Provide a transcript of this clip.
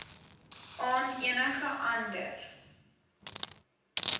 aan enige ander